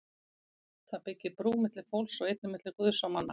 Það byggir brú milli fólks og einnig milli Guðs og manna.